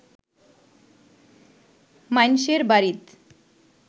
মাইনষের বাড়িত